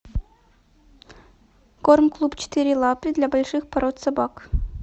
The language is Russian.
корм клуб четыре лапы для больших пород собак